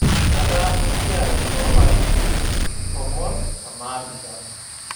Etaasa esiai too larin tomon o naapishana